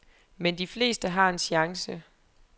Men de fleste har en chance.